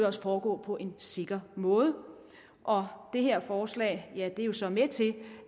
også foregå på en sikker måde og det her forslag er jo så med til